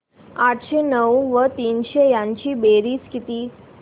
आठशे नऊ व तीनशे यांची बेरीज किती